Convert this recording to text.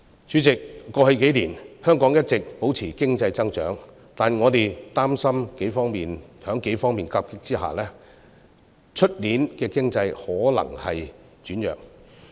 主席，過去數年，香港一直保持經濟增長，但我們擔心在數方面的夾擊之下，明年的經濟可能會轉弱。